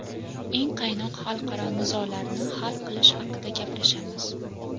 eng qaynoq xalqaro nizolarni hal qilish haqida gaplashamiz.